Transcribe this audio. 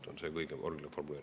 See on see kõige olulisem probleem.